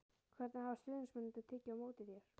Hvernig hafa stuðningsmennirnir tekið á móti þér?